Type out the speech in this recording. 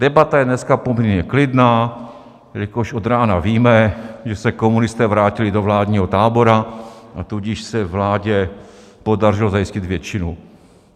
Debata je dneska poměrně klidná, jelikož od rána víme, že se komunisté vrátili do vládního tábora, a tudíž se vládě podařilo zajistit většinu.